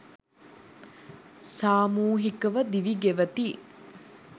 සාමූහිකව දිවි ගෙවති.